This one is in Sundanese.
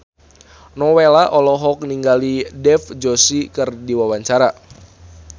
Nowela olohok ningali Dev Joshi keur diwawancara